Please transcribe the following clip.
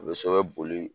U bɛ so ka boli